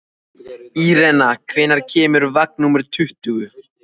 Irena, hvenær kemur vagn númer tuttugu?